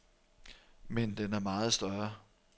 Men den er meget større.